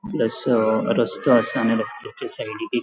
प्लस रस्तों आसा आणि रस्त्याच्या सायडिक एक --